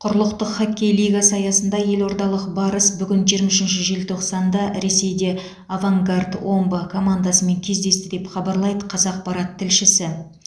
құрлықтық хоккей лигасы аясында елордалық барыс бүгін жиырма үшінші желтоқсанда ресейде авангард омбы командасымен кездесті деп хабарлайды қазақпарат тілшісі